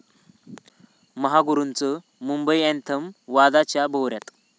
महागुरूंचं 'Mumbai anthem' वादाच्या भोवऱ्यात